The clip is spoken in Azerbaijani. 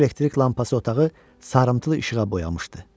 Balaca elektrik lampası otağı sarımtıl işığa boyamışdı.